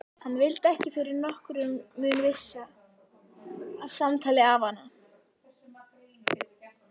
Hann vildi ekki fyrir nokkurn mun missa af samtali afanna.